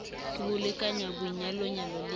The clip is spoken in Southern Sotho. ke ho lekanya boinyalanyo le